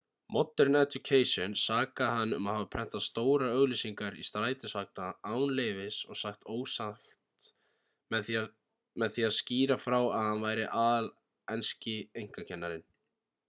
modern education sakaði hann um að hafa prentað stórar auglýsingar í strætisvagna án leyfis og sagt ósatt með því að skýra frá að hann væri aðal enski einkakennarinn